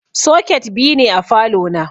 Soket biyu ne a falo na.